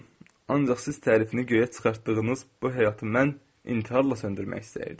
Ancaq siz tərifini göyə çıxartdığınız bu həyatı mən intiharla söndürmək istəyirdim.